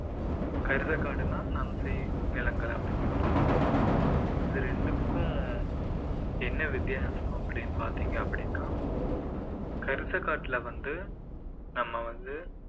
கரிசக்காடுனா நன்செய் நிலங்கள் அப்படிங்கிற மாதிரி சொல்லுவாங்க இது ரெண்டுக்கும் என்ன வித்தியாசம் அப்படின்னு பாத்தீங்க அப்படின்னா கரிசக்காட்டுல வந்து நம்ம வந்து